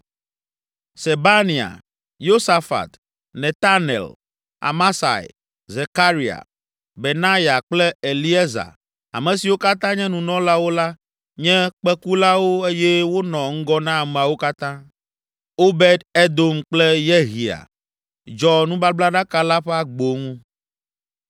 Sebania, Yosafat, Netanel, Amasai, Zekaria, Benaya kple Eliezer, ame siwo katã nye nunɔlawo la, nye kpẽkulawo eye wonɔ ŋgɔ na ameawo katã. Obed Edom kple Yehia dzɔ nubablaɖaka la ƒe agbo ŋu.